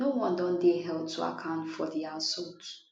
no one don dey held to account for di assault